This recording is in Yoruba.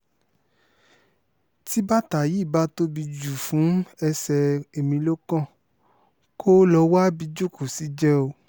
tí bàtà yìí bá tóbi jù fún ẹsẹ̀ emilokan kó lọ́ọ́ wábi jókòó sí jẹ́ẹ́ o